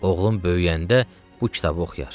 Oğlum böyüyəndə bu kitabı oxuyar.